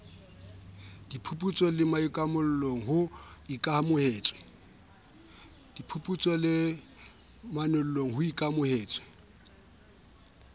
diphuputsong le manollong ho ikamahantswe